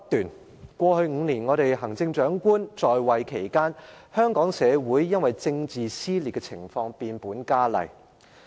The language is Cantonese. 梁振英在過去5年出任行政長官期間，政治撕裂的情況變本加厲。